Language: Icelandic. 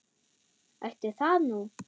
Ætli það nú.